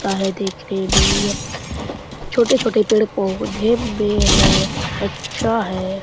ता है देखने में यह छोटे-छोटे पेड़-पौधे में है अच्छा है।